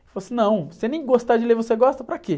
Ele falou assim, não, se você nem gostar de ler, você gosta para quê?